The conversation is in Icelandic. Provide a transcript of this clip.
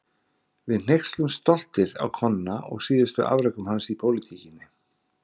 Við hneykslumst stoltir á Konna og síðustu afrekum hans í pólitíkinni.